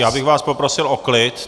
Já bych vás poprosil o klid.